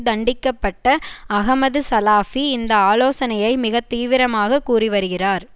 தண்டிக்கப்பட்ட அஹமது சலாபி இந்த ஆலோசனையை மிக தீவிரமாக கூறி வருகிறார்